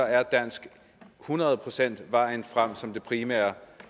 er dansk hundrede procent vejen frem som det primære